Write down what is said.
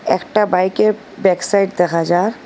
একটা বাইকের ব্যাকসাইড দেখা যার।